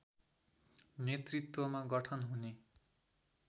नेतृत्वमा गठन हुने